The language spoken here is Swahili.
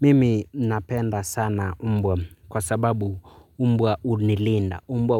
Mimi napenda sana mbwa kwa sababu mbwa hunilinda. Mbwa